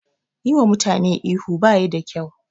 Yi wa mutane ihu baya da kyau